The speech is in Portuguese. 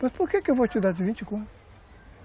Mas por que que eu vou te dar os vinte conto?